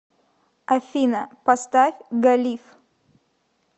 афина поставь галиф